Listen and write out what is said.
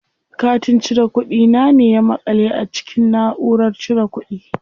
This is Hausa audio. Katin cire kuɗi na ne ya maƙale a cikin naʼurar cire kuɗi.